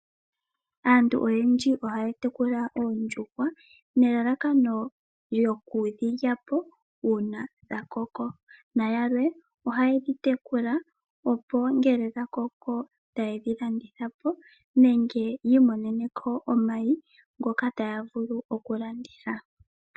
Aantu oyendji ohaya tekula oondjuhwa nelalakano lyoku dhi lyapo uuna dha koko nayamwe ohayedhi tekula opo ngele dha koko tayedhi landitha po nenge yi imoneneko mayi ngoka taya vulu oku landitha.